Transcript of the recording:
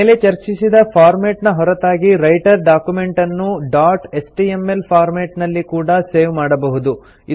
ಮೇಲೆ ಚರ್ಚಿಸಿದ ಫಾರ್ಮೆಟ್ ನ ಹೊರತಾಗಿ ರೈಟರ್ ಡಾಕ್ಯುಮೆಂಟನ್ನು ಡಾಟ್ ಎಚ್ಟಿಎಂಎಲ್ ಫಾರ್ಮೆಟ್ ನಲ್ಲಿ ಕೂಡಾ ಸೇವ್ ಮಾಡಬಹುದು